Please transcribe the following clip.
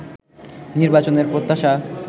নির্বাচনের প্রত্যাশা